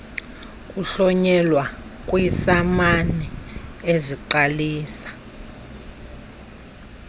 kuhlonyelwa kwiisamani eziqalisa